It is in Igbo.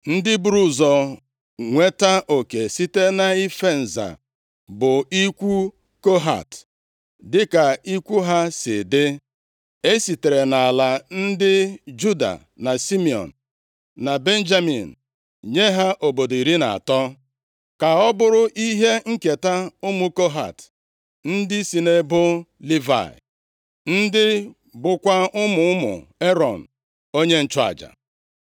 Ndị buru ụzọ nweta oke site nʼife nza bụ ikwu Kohat dịka ikwu ha si dị. E sitere nʼala ndị Juda, na Simiọn, na Benjamin nye ha obodo iri na atọ, ka ọ bụrụ ihe nketa ụmụ Kohat ndị si nʼebo Livayị, ndị bụkwa ụmụ ụmụ Erọn onye nchụaja.